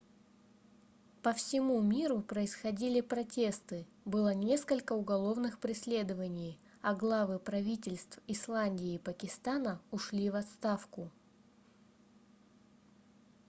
по всему миру происходили протесты было несколько уголовных преследований а главы правительств исландии и пакистана ушли в отставку